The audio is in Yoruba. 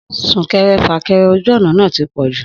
Súnkẹrẹ fàkẹrẹ ojú ọ̀nà náà ti pọ̀jù